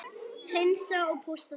Hreinsa og pússa þig?